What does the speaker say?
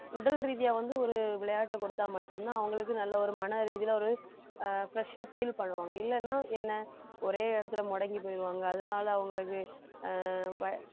உடல் ரீதியா வந்து ஒரு விளையாட்டை கொடுத்தா மட்டும்தான் அவங்களுக்கு நல்ல ஒரு மன ரீதியில ஒரு ஆஹ் fresh ஆ feel பண்ணுவாங்க இல்லன்னா என்ன ஒரே இடத்துல முடங்கி போயிருவாங்க அதனால அவங்களுக்கு